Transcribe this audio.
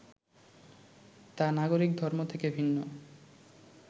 তা নাগরিক ধর্ম থেকে ভিন্ন